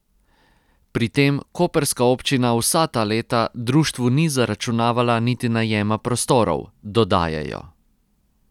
Pri tem koprska občina vsa ta leta društvu ni zaračunavala niti najema prostorov, dodajajo.